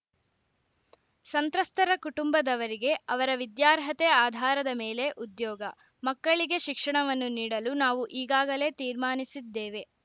ಸಂತ್ರಸ್ತರ ಕುಟುಂಬದವರಿಗೆ ಅವರ ವಿದ್ಯಾರ್ಹತೆ ಆಧಾರದ ಮೇಲೆ ಉದ್ಯೋಗ ಮಕ್ಕಳಿಗೆ ಶಿಕ್ಷಣವನ್ನು ನೀಡಲು ನಾವು ಈಗಾಗಲೇ ತೀರ್ಮಾನಿಸಿದ್ದೇವೆ